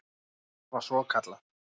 Það var svokallað